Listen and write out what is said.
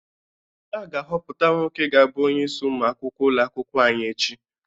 A ga-ahọpụta nwoke ga-abụ onyeisi ụmụ akwụkwọ ụlọ akwụkwọ anyị echi.